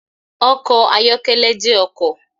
Ọkọ̀ ayọ́kẹ́lẹ́ jẹ́ ọkọ̀.